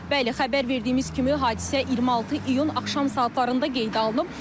Bəli, xəbər verdiyimiz kimi hadisə 26 iyun axşam saatlarında qeydə alınıb.